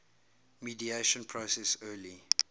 mediation process early